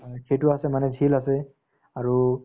হয়, সেইটো আছে মানে jhel আছে আৰু